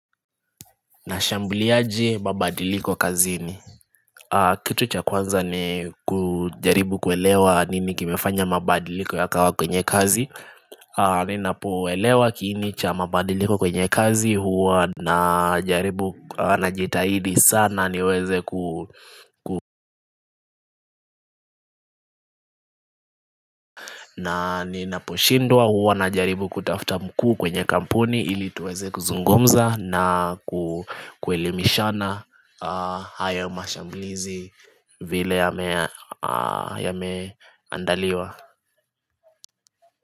Nashambliaje mabadiliko kazini Kitu cha kwanza ni kujaribu kuelewa nini kimefanya mabadiliko yakawa kwenye kazi Ninapoelewa kiini cha mabadiliko kwenye kazi huwa najitahidi sana niweze kuhu na ninapo lshindwa huwa najaribu kutafta mkuu kwenye kampuni ili tuweze kuzungumza na kuelimishana haya mashamblizi vile yameandaliwa.